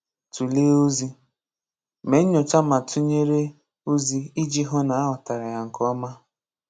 Tulee Ozi: Mee nyoocha ma tunyere ozi iji hụ na aghọtara ya nke ọma.